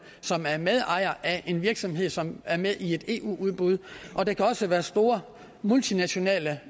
som er medejere af en virksomhed som er med i et eu udbud og der kan også være store multinationale